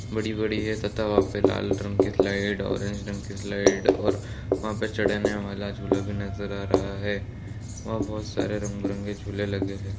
बड़ी-बड़ी है तथा वहाँ पे लाल रंग के स्लाइड ओरेंज रंग के स्लाइड और वहाँ पे चढ़ने वाला झूला भी नजर आ रहा है वहाँ बहुत सारे रंग-बिरंगे झूल भी लगे हुए हैं।